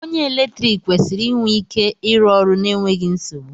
Onye eletrik kwesịrị inwe ike ịrụ ọrụ n'enweghị nsogbu